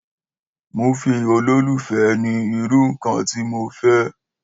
Múfì olólùfẹ́ ni irú ǹkan tí mo fẹ́